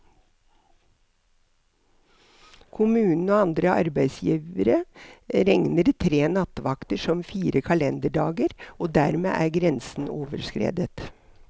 Kommunen og andre arbeidsgivere regner tre nattevakter som fire kalenderdager, og dermed er grensen overskredet.